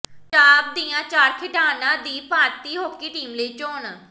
ਪੰਜਾਬ ਦੀਆਂ ਚਾਰ ਖਿਡਾਰਨਾਂ ਦੀ ਭਾਰਤੀ ਹਾਕੀ ਟੀਮ ਲਈ ਚੋਣ